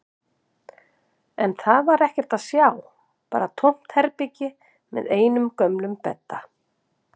En þar var ekkert að sjá, bara tómt herbergi með einum gömlum bedda.